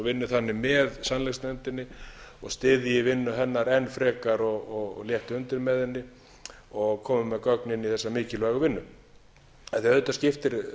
vinni þannig með sannleiksnefndinni og styðji vinnu hennar enn frekar og létti undir með henni og komi með gögn inn í þessa mikilvægu vinnu auðvitað skiptir